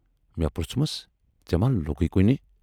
مے پروژھمس ژے ما لوگُے کُنہِ۔